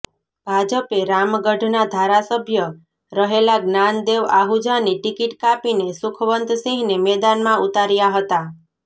ભાજપે રામગઢના ધારાસભ્ય રહેલા જ્ઞાનદેવ આહુજાની ટિકિટ કાપીને સુખવંતસિંહને મેદાનમાં ઉતાર્યા હતા